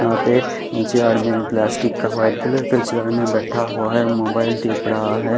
यहां पे ऊंचे आड़ में प्लास्टिक का व्हाइट कलर का चेयर में बैठा हुआ है मोबाइल टिप रहा है।